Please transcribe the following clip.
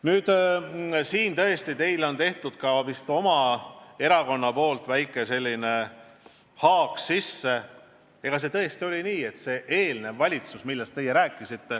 Nüüd vist on teie erakond tõesti sellise väikese haagi sisse teinud.